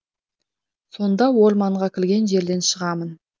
сонда орманға кірген жерден шығамын